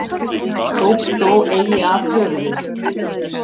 Tók þó eigi af höfuðið.